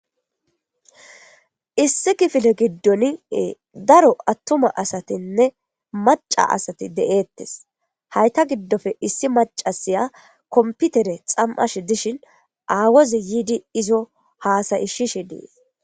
issi kifile giddoniee daro attuma asatinne maca asati de7eettes hayta giddofe issi macasiya komputere xam7ash dishin aawozi yiidi izo haasayi shishe dees